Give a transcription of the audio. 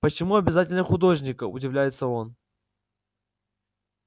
почему обязательно художника удивляется он